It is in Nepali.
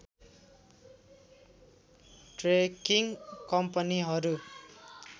ट्रेकिङ कम्पनीहरू